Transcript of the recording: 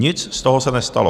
Nic z toho se nestalo.